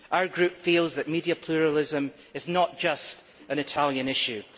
Our group feels that media pluralism is not just an Italian issue.